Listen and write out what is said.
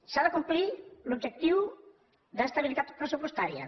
s’ha de complir l’objectiu d’estabilitat pressupostària